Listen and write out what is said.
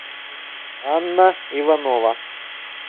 анна иванова